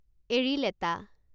এৰিলেটা